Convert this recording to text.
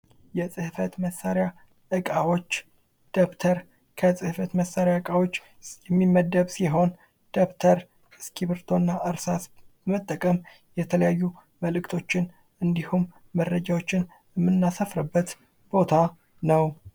የጽህፈት መሳሪያዎች እቃዎች ደብተር ከጽህፈት መሳሪያ እቃዎች የሚመደብ ሲሆን ደብተር እስክርቢቶና እርሳስን መጠቀም የተለያዩ መልእክቶችን እንዲሁም መረጃዎችን እምናሰፍርበት ቦታ ነው።